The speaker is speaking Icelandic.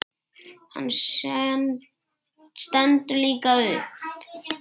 Hann stendur líka upp.